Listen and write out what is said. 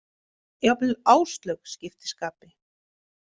Jafnvel Áslaug skipti skapi.